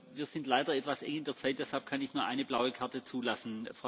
Wir sind leider etwas eng in der Zeit, deshalb kann ich nur eine blaue Karte zulassen.